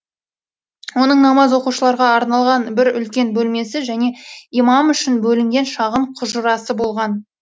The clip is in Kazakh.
оның намаз оқушыларға арналған бір үлкен бөлмесі және имам үшін бөлінген шағын құжырасы болған